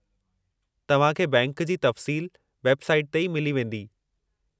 तव्हां खे बैंक जी तफ़सील वेब साईट ते ई मिली वेंदी।